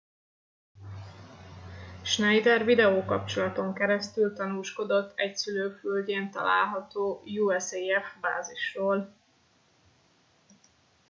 schneider videókapcsolaton keresztül tanúskodott egy szülőföldjén található usaf bázisról